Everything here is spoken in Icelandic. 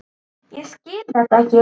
Ég skil þetta ekki!